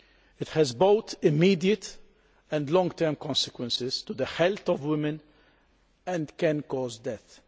It has both immediate and long term consequences for the health of women and can cause death.